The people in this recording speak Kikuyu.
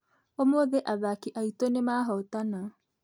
Ũmũthĩ athaki aitũnĩmahotana